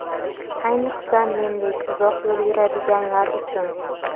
Ayniqsa mendek uzoq yo‘l yuradiganlar uchun).